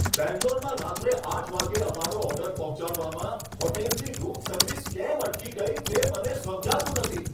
બેંગ્લોરમાં રાત્રે આઠ વાગ્યે અમારો ઓર્ડર પહોંચાડવામાં હોટેલની રૂમ સર્વિસ કેમ અટકી ગઈ, તે મને સમજાતું નથી.